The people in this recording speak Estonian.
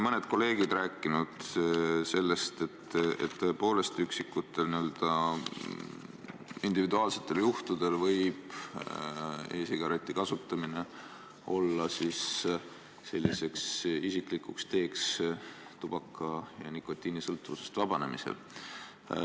Mõned kolleegid on siin rääkinud sellest, et tõepoolest üksikutel individuaalsetel juhtudel võib e-sigareti kasutamine olla isiklik tee tubaka- ja nikotiinisõltuvusest vabanemiseks.